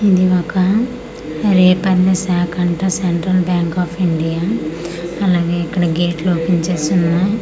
ఇది ఒక రేపల్లె శాకంట సెంట్రల్ బ్యాంక్ ఆఫ్ ఇండియా అలాగే ఇక్కడ గేట్లు ఓపన్ చేసి ఉన్నాయ్.